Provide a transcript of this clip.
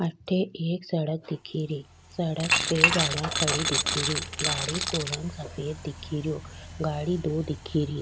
अठे एक सड़क दिखे री सड़क पे गाड़ी खड़ी दिखे री गाड़ी को रंग सफ़ेद दिखे रियो गाड़ी दो दिखे री।